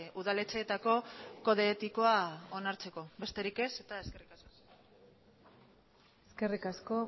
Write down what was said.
udaletxeetako kode etikoa onartzeko besterik ez eta eskerrik asko eskerrik asko